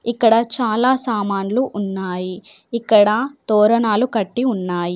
ఇక్కడ చాలా సామాన్లు ఉన్నాయి. ఇక్కడ తోరణాలు కట్టి ఉన్నాయి.